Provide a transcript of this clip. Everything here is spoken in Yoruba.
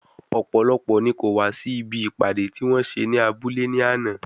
Ọ̀pọ̀lọpọ̀ ni kò wá sí ibi ìpàdé tí wọ́n ṣe ní abúlé ní àná.